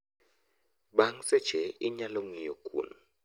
Bang' seche, inyalo ng'iyo kuon